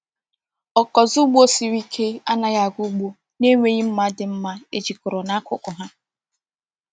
Ọkụzụ ugbo siri ike anaghị aga ugbo na-enweghị mma dị mma ejikọrọ n'akụkụ ha.